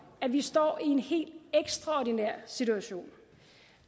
at vi står i en helt ekstraordinær situation